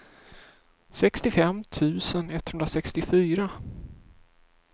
sextiofem tusen etthundrasextiofyra